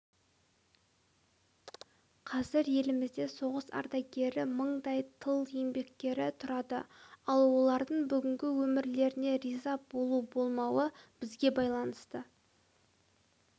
қазір елімізде соғыс ардагері мыңдай тыл еңбеккері тұрады ал олардың бүгінгі өмірлеріне риза болу-болмауы бізге байланысты